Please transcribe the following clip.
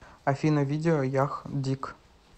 афина видео ях диг